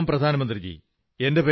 പ്രണാമം പ്രധാനമന്ത്രീജീ